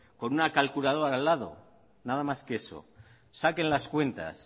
con una calculadora al lado nada más que eso saquen las cuentas